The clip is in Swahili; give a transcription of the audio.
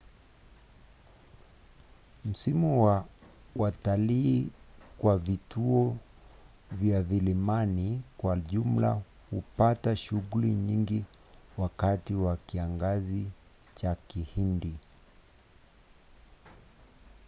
msimu wa watalii kwa vituo vya vilimani kwa jumla hupata shughuli nyingi wakati wa kiangazi cha kihindi